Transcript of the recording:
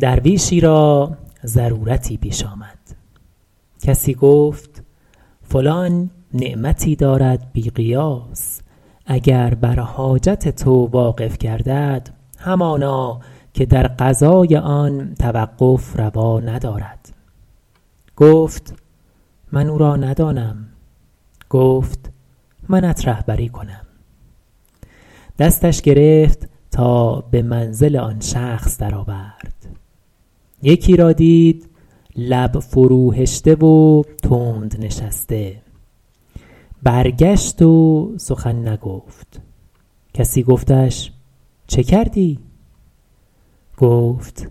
درویشی را ضرورتی پیش آمد کسی گفت فلان نعمتی دارد بی قیاس اگر بر حاجت تو واقف گردد همانا که در قضای آن توقف روا ندارد گفت من او را ندانم گفت منت رهبری کنم دستش گرفت تا به منزل آن شخص در آورد یکی را دید لب فرو هشته و تند نشسته برگشت و سخن نگفت کسی گفتش چه کردی گفت